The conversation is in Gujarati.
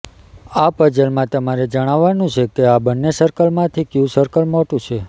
આ પઝલમાં તમારે જણાવાનું છે કે આ બંને સર્કલમાંથી કયું સર્કલ મોટું છે